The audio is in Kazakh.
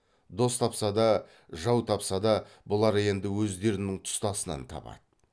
дос тапса да жау тапса да бұлар енді өздерінің тұстасынан табады